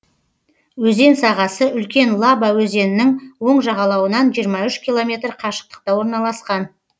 өзен сағасы үлкен лаба өзенінің оң жағалауынан жиырма үш километр қашықтықта орналасқан